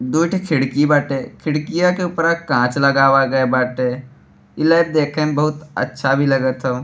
दुइ ठो खिड़की बाटे। खिडकिया के उपरा कांच लगावा गए बाटे। ई लैब देखे में बहुत अच्छा भी लगत हौ।